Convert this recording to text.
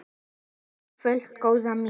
Ekki í kvöld, góða mín.